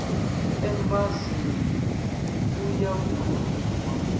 embasi nn u ya vhurumiwa